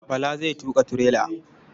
Bala zai tuƙa tirela.